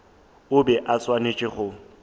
o be a swanetše go